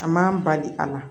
A man bali a la